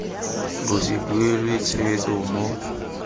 bo se duelwe tshwetso mo